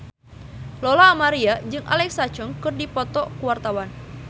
Lola Amaria jeung Alexa Chung keur dipoto ku wartawan